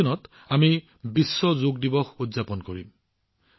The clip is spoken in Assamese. আমি ২১ জুনত বিশ্ব যোগ দিৱস উদযাপন কৰিম